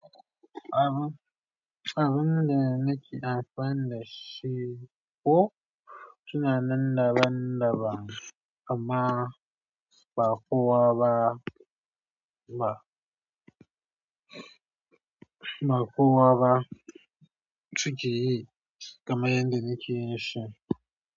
Abun, abun da nake amfana da shi ko tunanin daban-daban amma ba kowa ba, ba, ba kowa ba ciki yi kamar yadda nake yi shi.